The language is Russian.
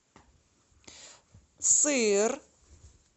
сыр